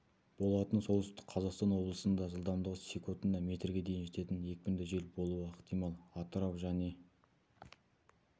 болатын солтүстік қазақстан облысында жылдамдығы секундына метрге дейін жететін екіпінді жел болуы ықтимал атырау және